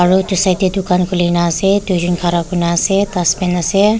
aru etu side te dukan khulina ase duijon khara korina ase dustbin ase.